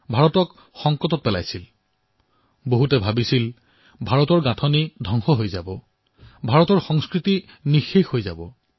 মানুহে ভাবিছিল যে ভাৰতৰ অৱয়ব পৰিৱৰ্তন হৈ পৰিব ভাৰতৰ সংস্কৃতি বিনষ্ট হব